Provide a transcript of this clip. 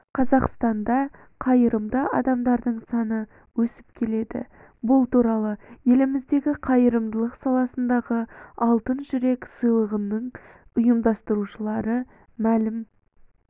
қазақстанда қайырымды адамдардың саны өсіп келеді бұл туралы еліміздегі қайырымдылық саласындағы алтын жүрек сыйлығының ұйымдастырушылары мәлім